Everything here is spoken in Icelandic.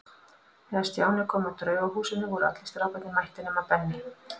Þegar Stjáni kom að Draugahúsinu voru allir strákarnir mættir nema Benni.